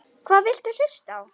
Hvað viltu hlusta á?